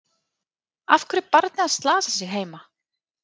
Af hverju er barnið að slasa sig heima?